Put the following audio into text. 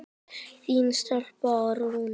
Þín stelpa, Rúna.